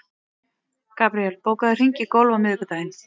Gabríel, bókaðu hring í golf á miðvikudaginn.